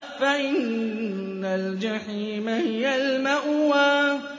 فَإِنَّ الْجَحِيمَ هِيَ الْمَأْوَىٰ